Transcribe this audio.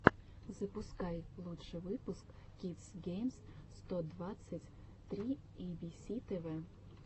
запускай лучший выпуск кидс геймс сто двадцать три эйбиси тэвэ